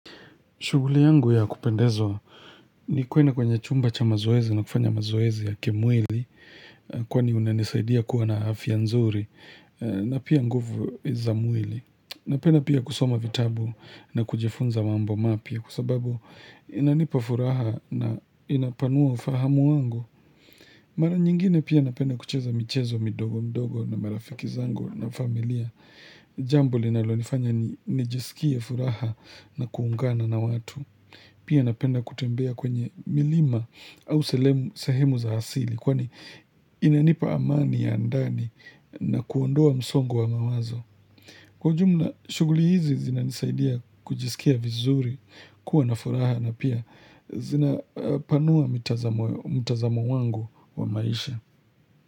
Shughuli yangu ya kupendezwa ni kuenda kwenye chumba cha mazoezi na kufanya mazoezi ya kimwili. Kwani unanisaidia kuwa na afya nzuri na pia nguvu za mwili Napenda pia kusoma vitabu na kujifunza mambo mapya kwa sababu inanipa furaha na inapanua ufahamu wangu Mara nyingine pia napenda kucheza michezo midogo midogo na marafiki zangu na familia Jambo linalonifanya nijisikie furaha na kuungana na watu Pia napenda kutembea kwenye milima au sehemu za asili Kwani inanipa amani ya ndani na kuondoa msongo wa mawazo. Kwa ujumla, shughuli hizi zinanisaidia kujisikia vizuri kuwa na furaha na pia zinapanua mtazamo wangu wa maisha.